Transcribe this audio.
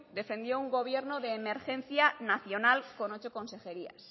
defendió un gobierno de emergencia nacional con ocho consejerías